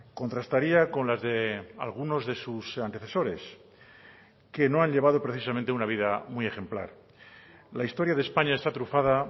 contrastaría con las de algunos de sus antecesores que no han llevado precisamente una vida muy ejemplar la historia de españa está trufada